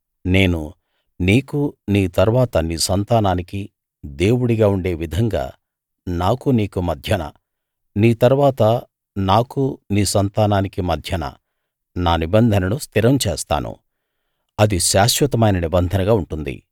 నేను నీకూ నీ తరువాత నీ సంతానానికీ దేవుడిగా ఉండే విధంగా నాకూ నీకూ మధ్యన నీ తరువాత నాకూ నీ సంతానానికీ మధ్యన నా నిబంధనను స్థిరం చేస్తాను అది శాశ్వతమైన నిబంధనగా ఉంటుంది